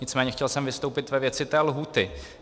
Nicméně chtěl jsem vystoupit ve věci té lhůty.